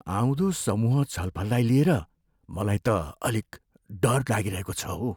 आउँदो समूह छलफललाई लिएर मलाई त अलिक डर लागिरहेको छ हो।